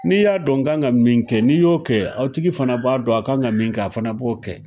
N'i y'a dɔn n kan ka min kɛ n'i y'o kɛ aw tigi fana b'a dɔn a kan ka min a fana b'o kɛ.